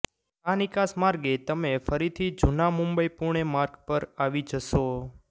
આ નિકાસ માર્ગે તમે ફરીથી જૂના મુંબઈ પુણે માર્ગ પર આવી જશો